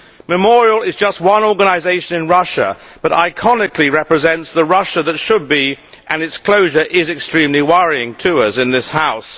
Memorial is just one organisation in Russia, but iconically it represents the Russia that should be and its closure is extremely worrying to us in this House.